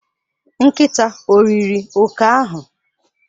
Nkịta o riri oke ahụ?